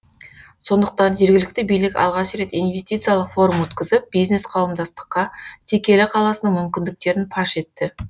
сондықтан жергілікті билік алғаш рет инвестициялық форум өткізіп бизнес қауымдастыққа текелі қаласының мүмкіндіктерін паш етті